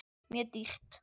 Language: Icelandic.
Mjög dýrt.